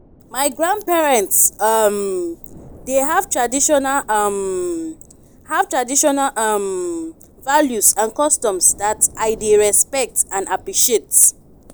my grandparents um dey have traditional um have traditional um values and customs that i dey respect and appreciate.